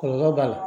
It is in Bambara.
Kɔlɔlɔ b'a la